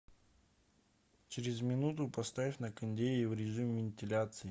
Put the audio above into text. через минуту поставь на кондее в режим вентиляции